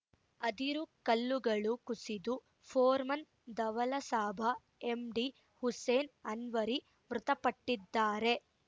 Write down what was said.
ಅದಿರು ಕಲ್ಲುಗಳು ಕುಸಿದು ಫೋರ್‌ಮನ್‌ ದವಲಸಾಬ ಎಂಡಿ ಹುಸೇನ್‌ ಅನ್ವರಿ ಮೃತಪಟ್ಟಿದ್ದಾರೆ